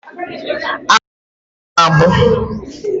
Agwọ na-agbụ agbụ.